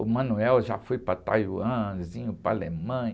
O já foi para Taiwan, para a Alemanha,